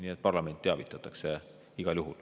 Nii et parlamenti teavitatakse igal juhul.